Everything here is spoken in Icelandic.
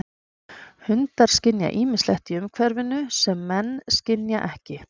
Hundar skynja ýmislegt í umhverfinu sem menn skynja ekki.